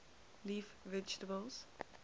leaf vegetables